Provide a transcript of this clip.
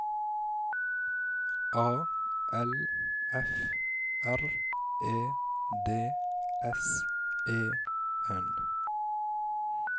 A L F R E D S E N